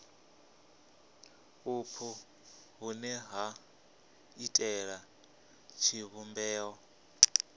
vhupo vhune ha iitela tshivhumbeo